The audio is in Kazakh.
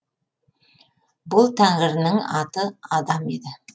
бұл тәңірінің аты адам еді